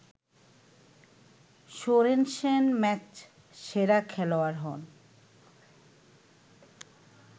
Sorensen ম্যাচসেরা খেলোয়াড় হন